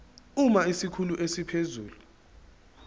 uma isikhulu esiphezulu